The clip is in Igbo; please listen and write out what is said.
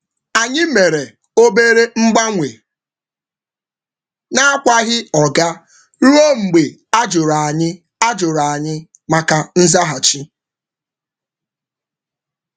Anyị mere obere mgbanwe n’akwaghị oga ruo mgbe a jụrụ anyị maka nzaghachi.